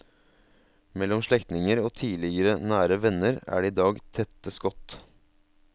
Mellom slektninger og tidligere nære venner er det i dag tette skott.